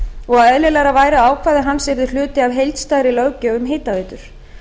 og að eðlilegra væri að ákvæði hans yrðu hluti af heildstæðri löggjöf um hitaveitur